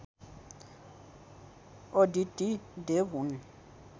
अदिति देव हुन्